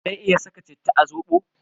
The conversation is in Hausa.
Zan iya saka citta a zobo?